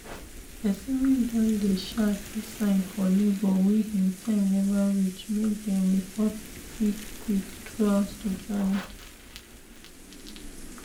persin wey don dey um see sign for labor wey him time never reach make dem report qik quik throughout the journey